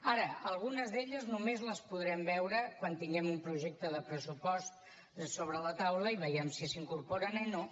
ara algunes d’elles només les podrem veure quan tinguem un projecte de pressupost sobre la taula i vegem si s’hi incorporen o no